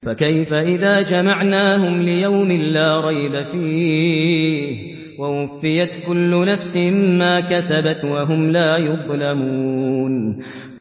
فَكَيْفَ إِذَا جَمَعْنَاهُمْ لِيَوْمٍ لَّا رَيْبَ فِيهِ وَوُفِّيَتْ كُلُّ نَفْسٍ مَّا كَسَبَتْ وَهُمْ لَا يُظْلَمُونَ